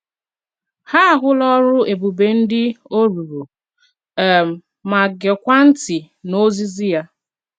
Ha ahụla ọrụ ebube ndị ọ rụrụ, um ma geekwa ntị n’ozizi ya.